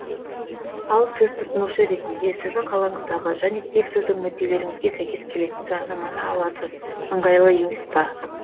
ал сіз тұтынушы ретінде сіздің қалаңыздағы және тек сіздің мүдделеріңізге сәйкес келетін жарнаманы аласыз ыңғайлы емес па